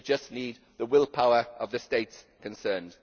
They just need the willpower of the states concerned.